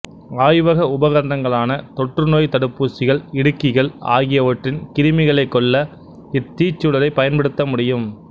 ஆய்வக உபகரணங்களான தொற்று நோய் தடுப்பூசிகள் இடுக்கிகள் ஆகியவற்றின் கிருமிகளைக் கொல்ல இத் தீச்சுடரைப் பயன்படுத்த முடியும்